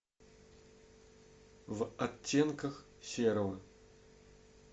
в оттенках серого